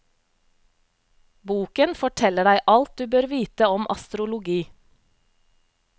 Boken forteller deg alt du bør vite om astrologi.